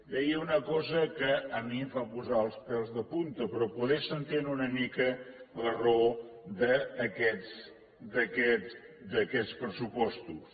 deia una cosa que a mi em fa posar els pèls de punta però potser s’entén una mica la raó d’aquests pressupostos